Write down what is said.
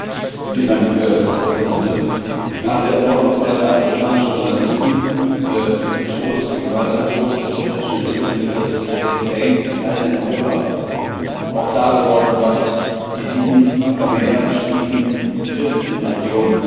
Frau Präsidentin! Nach der Ermordung zweier amerikanischer Journalisten und dem gewaltsamen Tod des britischen Entwicklungshelfers David Haines ist allen in Europa auch klar geworden, was Jesiden, Aramäer, Schiiten und Christen in der Region durchmachen.